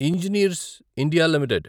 RHI Magnesita India limited